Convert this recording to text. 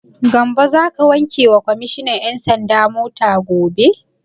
Gambo za ka wanke wa kwammishinan 'yan sanda mota?